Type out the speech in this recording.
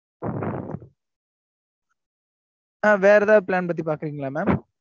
ஆஹ் வேற ஏதாது plan பத்தி பாக்குறீங்களா mam